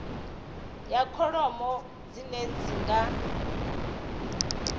ya kholomo dzine dzi nga